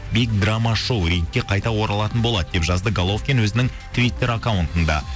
биг драма шоу рингке қайта оралатын болады деп жазды головкин өзінің твиттер акаунттында